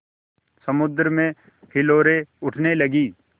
समुद्र में हिलोरें उठने लगीं